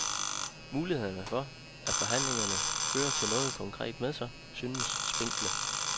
Mulighederne for, at forhandlingerne fører noget konkret med sig, synes spinkle.